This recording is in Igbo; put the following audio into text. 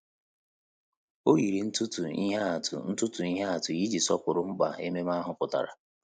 Ọ́ yìrì ntụtụ ihe atụ ntụtụ ihe atụ iji sọ́pụ́rụ́ mkpa ememe ahụ pụ́tàrà.